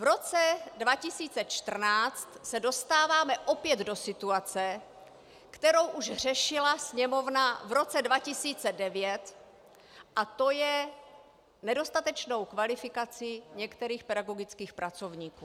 V roce 2014 se dostáváme opět do situace, kterou už řešila Sněmovna v roce 2009, a to je nedostatečnou kvalifikaci některých pedagogických pracovníků.